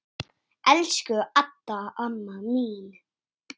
Elsku Adda amma mín.